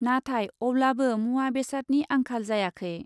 नाथाय अब्लाबो मुवा बेसादनि आंखाल जायाखै ।